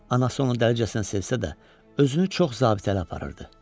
Anası onu dəlcəsinə sevsə də, özünü çox zabitəli aparırdı.